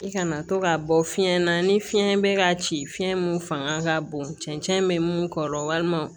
I kana to ka bɔ fiyɛn na ni fiɲɛ bɛ ka ci fiɲɛ min fanga ka bon cɛncɛn bɛ mun kɔrɔ walima